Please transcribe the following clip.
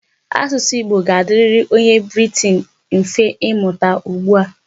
Asụsụ Igbo ga-adịrị onye Briten mfe imụta ugbu a.